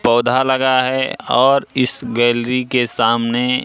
पौधा लगा है और इस गैलरी के सामने--